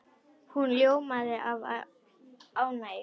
Hún ljómaði af ánægju.